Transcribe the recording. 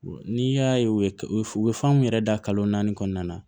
N'i y'a ye u bɛ fan min yɛrɛ da kalo naani kɔnɔna na